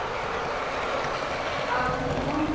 Afi og Lilla veltust um af hlátri.